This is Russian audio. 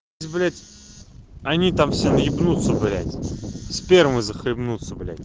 блять они там все наебнуться блять спермой захлебнуться блять